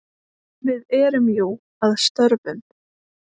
Við erum jú að störfum.